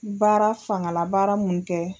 Baara fangala baara mun kɛ.